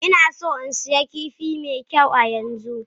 Ina so in sayi kifi mai kyau yanzu.